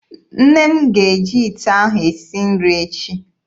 Nne m ga-eji ite ahụ esi nri echi.